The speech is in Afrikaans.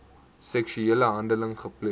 seksuele handeling gepleeg